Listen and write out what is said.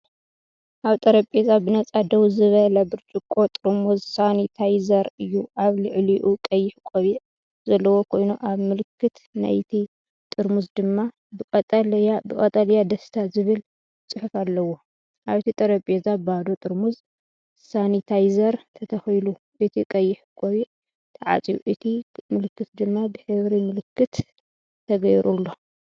ኣብ ጠረጴዛ ብነጻ ደው ዝበለ ብርጭቆ ጥርሙዝ ሳኒታይዘር እዩ። ኣብ ልዕሊኡ ቀይሕ ቆቢዕ ዘለዎ ኮይኑ፡ኣብ ምልክት ናይቲ ጥርሙዝ ድማ ብቀጠልያ"ደስታ"ዝብል ጽሑፍ ኣለዎ። ኣብቲ ጠረጴዛ ባዶ ጥርሙዝ ሳኒታይዘር ተተኺሉ፣ እቲ ቀይሕ ቆቢዕ ተዓጽዩ፡እቲ ምልክት ድማ ብሕብሪ ምልክት ተገይሩሉ።